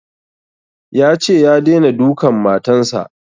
Yace ya daina dukan matan sa